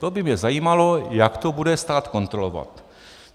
To by mě zajímalo, jak to bude stát kontrolovat.